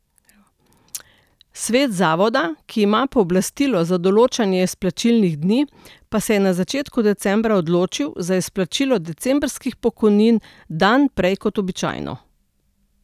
Svet zavoda, ki ima pooblastilo za določanje izplačilnih dni, pa se je na začetku decembra odločil za izplačilo decembrskih pokojnin dan prej kot običajno.